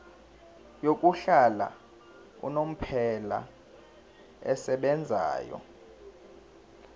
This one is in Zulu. yokuhlala unomphela esebenzayo